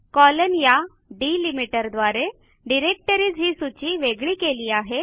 colon या delimiter द्वारे directories ही सूची वेगळी केली आहे